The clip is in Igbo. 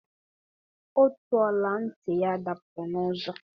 Otu ọla ntị ya dapụrụ n'ụzọ.